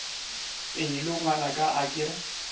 pelo ngwanaka a ke re